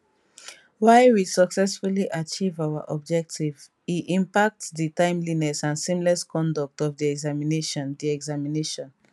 while we successfully achieve our objective e impact di timeliness and seamless conduct of di examination di examination